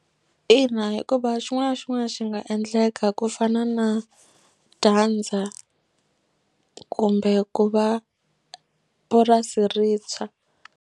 Ina hikuva xin'wana xin'wana xi nga endleka ku fana na dyandza kumbe ku va purasi ri tshwa.